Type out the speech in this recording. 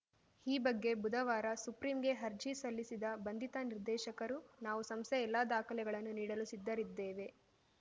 ಈ ಬಗ್ಗೆ ಬುಧವಾರ ಸುಪ್ರೀಂಗೆ ಅರ್ಜಿ ಸಲ್ಲಿಸಿದ ಬಂಧಿತ ನಿರ್ದೇಶಕರುನಾವು ಸಂಸ್ಥೆಯ ಎಲ್ಲಾ ದಾಖಲೆಗಳನ್ನು ನೀಡಲು ಸಿದ್ಧರಿದ್ದೇವೆ